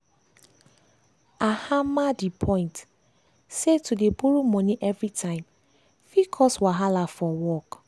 i hammer di point say to dey borrow money everytime fit cause wahala for work.